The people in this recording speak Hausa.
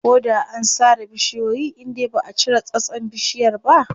Ko da an sare bishiyoyi indai baʼa cire tsatson bishiyar ba.